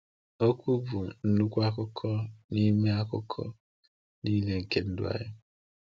Okwu bụ nnukwu akụkụ n’ime akụkụ niile nke ndụ anyị.